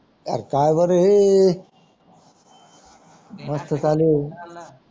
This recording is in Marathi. आर काय बर हे नेणार मस्त चालू आहे.